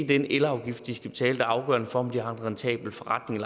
den elafgift de skal betale afgørende for om de har en rentabel forretning